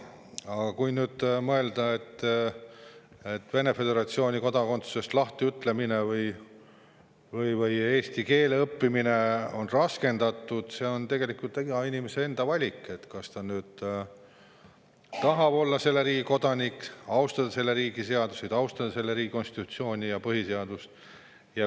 Aga kui mõelda sellele, et Vene föderatsiooni kodakondsusest lahtiütlemine või eesti keele õppimine võib olla raskendatud, siis see on tegelikult iga inimese enda valik, kas ta tahab olla selle riigi kodanik, austada selle riigi seadusi, austada selle riigi konstitutsiooni, põhiseadust.